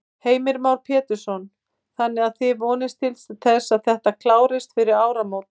Heimir Már Pétursson: Þannig að þið vonist til að þetta klárist fyrir áramót?